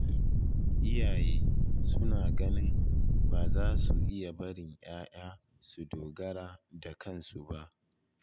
Iyaye suna ganin ba za su iya barin 'ya'ya su dogara da kansu ba